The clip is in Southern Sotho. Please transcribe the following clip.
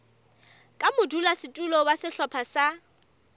ka modulasetulo wa sehlopha sa